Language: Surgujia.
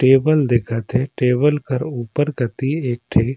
टेबल दिखत हे टेबल कर ऊपर कति एक ठी --